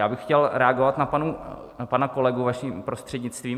Já bych chtěl reagovat na pana kolegu vaším prostřednictvím.